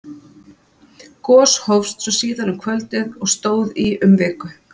Gos hófst svo síðar um kvöldið og stóð í um viku.